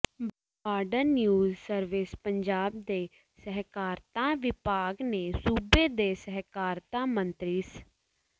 border news ਸਰਵਿਸਪੰਜਾਬ ਦੇ ਸਹਿਕਾਰਤਾ ਵਿਭਾਗ ਨੇ ਸੂਬੇ ਦੇ ਸਹਿਕਾਰਤਾ ਮੰਤਰੀ ਸ